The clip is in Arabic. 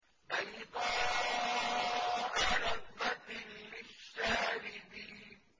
بَيْضَاءَ لَذَّةٍ لِّلشَّارِبِينَ